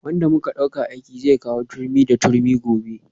Wanda muka dauka aiki zai kawo turmi da turmi gobe